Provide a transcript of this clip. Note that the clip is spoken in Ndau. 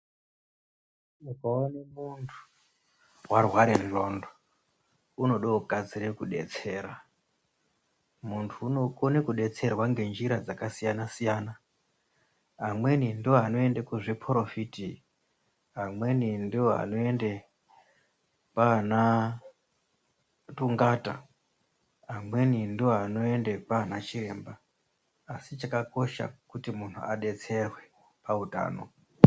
Ukaone muntu, warware ngqondo, unode kukasire kudetsera. Muntu unokone kudetserwa ngenjira dzakasiyana-siyana, amweni ndiwo anoende kuzviphorofiti, amweni ndiwo anoende kwaana thungata, amweni ndiwo anoende kwaana chiremba, asi chakakosha kuti muntu adetserwe pautano.